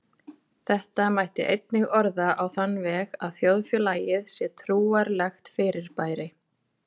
Þetta mætti einnig orða á þann veg að þjóðfélagið sé trúarlegt fyrirbæri.